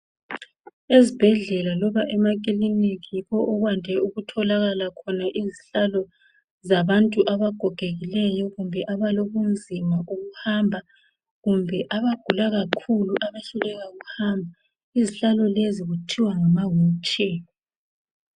Ezibhedlela loba emakiliniki yikho okwande ukutholakala khona izihlalo zabantu abagogekileyo. Kumbe abalobunzima bokuhamba ,kumbe abagula kakhulu abehluleka ukuhamba. Izihlalo lezi kuthiwa ngama wheelchair.